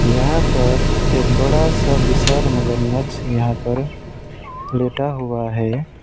यहां पर एक बड़ा सा विशाल मगरमच्छ यहां पर लेटा हुआ है।